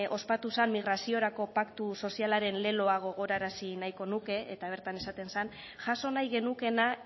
ospatu zen migraziorako paktu sozialaren leloa gogorarazi nahiko nuke eta bertan esaten zen jaso nahi genukeena